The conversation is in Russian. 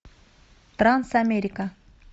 трансамерика